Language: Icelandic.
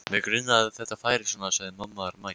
Mig grunaði að þetta færi svona sagði mamma mædd.